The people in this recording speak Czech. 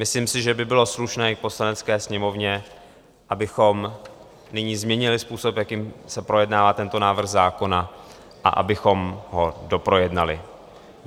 Myslím si, že by bylo slušné i v Poslanecké sněmovně, abychom nyní změnili způsob, jakým se projednává tento návrh zákona, a abychom ho doprojednali.